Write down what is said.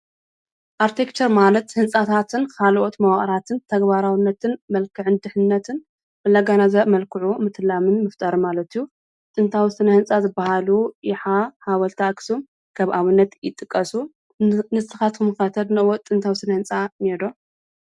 ኣርትክቸር ማለት ህንፃታትን ካልኦት መዋቅራትን ተግባራዊነትን መልክዕን ድሕንነትን እንደጋናዘበ መልክዑ ምትላምን ምፍጣርን ማለት እዩ፡፡ ጥንታዊ ስነ ህንፃ ዝባሃሉ ይሓ፣ ሓወልቲ ኣክሱም ከም ኣብነት ይጥቀሱ፡፡ ንስካትኩም ከ ተድንቅዎ ጥንታዊ ስነ ህንፃ እኒኤ ዶ?